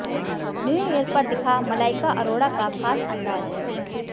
new year पर दिखा मलाइका अरोड़ा का खास अंदाज